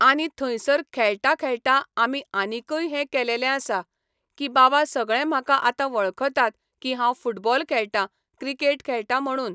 आनी थंयसर खेळटां खेळटां आमी आनीकय हें केलेलें आसा, की बाबा सगळे म्हाका आतां वळखतात की हांव फुटबॉल खेळटां, क्रिकेट खेळटां म्हणून